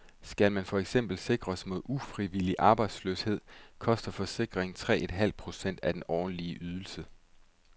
Skal man for eksempel sikres mod ufrivillig arbejdsløshed, koster forsikringen tre en halv procent af den årlige ydelse.